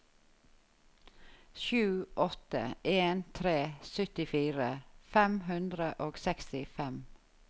sju åtte en tre syttifire fem hundre og sekstifem